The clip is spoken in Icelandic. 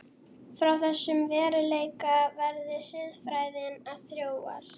Frá þessum veruleika verði siðfræðin að þróast.